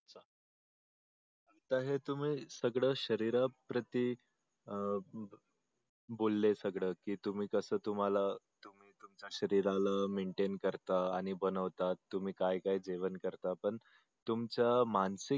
तर हे तुम्ही सगळ शरीरा प्रती बोलले सगळ कि तुम्ही कस सगळ तुमच्या शरीराला maintain करता आणि बनवता तुम्ही काय जेवण करता पण तुमच मानसिक